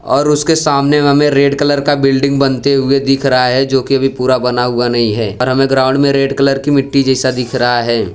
और उसके सामने हमें रेड कलर का बिल्डिंग बनते हुए दिख रहा है जो कि अभी पूरा बना हुआ नहीं है पर हमें ग्राउंड में रेड कलर की मिट्टी जैसा दिख रहा है।